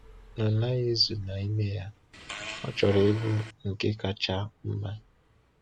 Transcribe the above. Ọ naghị ezu na ime ya, ọ chọrọ ịbụ nke kacha mma.